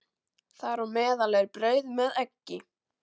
Þar á meðal er brauð með eggi.